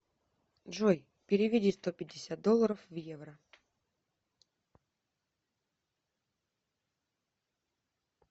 джой переведи сто пятьдесят долларов в евро